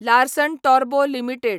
Larsen Toubro limited